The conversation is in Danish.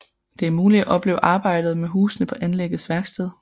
Det er muligt at opleve arbejdet med husene på anlæggets værksted